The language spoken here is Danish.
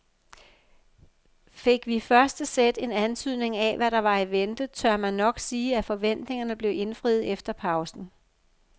Fik vi i første sæt en antydning af hvad der var i vente, tør man nok sige at forventningerne blev indfriet efter pausen.